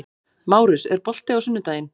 Márus, er bolti á sunnudaginn?